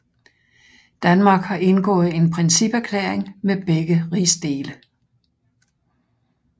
Danmark har indgået en principerklæring med begge rigsdele